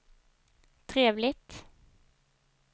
trevligt